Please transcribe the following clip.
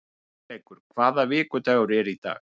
Hugleikur, hvaða vikudagur er í dag?